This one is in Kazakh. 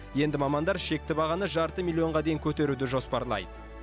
енді мамандар шекті бағаны жарты миллионға дейін көтеруді жоспарлайды